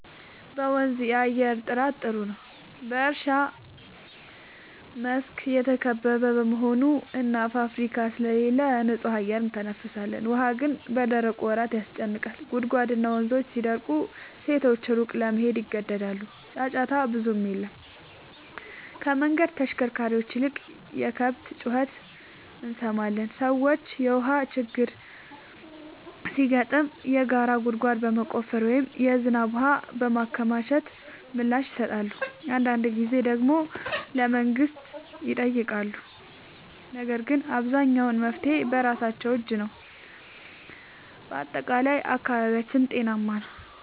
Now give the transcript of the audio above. በመንዝ የአየር ጥራት ጥሩ ነው፤ በእርሻ መስክ የተከበበ በመሆኑ እና ፋብሪካ ስለሌለ ንጹህ አየር እንተነፍሳለን። ውሃ ግን በደረቁ ወራት ያጨናንቃል፤ ጉድጓድና ወንዞች ሲደርቁ ሴቶች ሩቅ ለመሄድ ይገደዳሉ። ጫጫታ ብዙም የለም፤ ከመንገድ ተሽከርካሪዎች ይልቅ የከብት ጩኸት እንሰማለን። ሰዎች የውሃ ችግር ሲገጥም የጋራ ጉድጓድ በመቆፈር ወይም የዝናብ ውሃ በማከማቸት ምላሽ ይሰጣሉ። አንዳንድ ጊዜ ደግሞ ለመንግሥት ይጠይቃሉ፤ ነገር ግን አብዛኛው መፍትሔ በራሳቸው እጅ ነው። በጠቅላላው አካባቢያችን ጤናማ ነው።